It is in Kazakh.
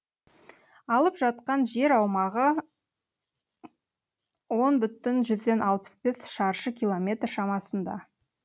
алып жатқан жер аумағы он бүтін жүзден алпыс бес шаршы километр шамасында